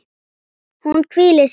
Hún hvílir sig.